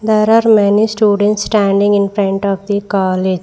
There are many students standing in front of the college.